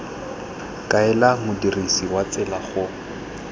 kaela modirisi wa tsela go